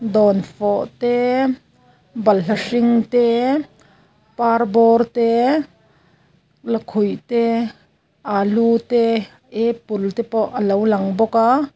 dawnfawh te balhla hring te parbawr te lakhuih te alu te apple te pawh a lo lang bawk aa.